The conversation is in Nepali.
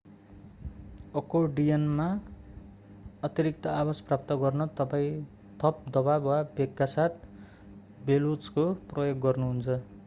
अकोर्डियनमा अतिरिक्त आवाज प्राप्त गर्न तपाईं थप दवाब वा वेगका साथ बेलोजको प्रयोग गर्नुहुन्छ